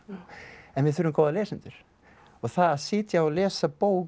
en við þurfum góða lesendur og að sitja og lesa bók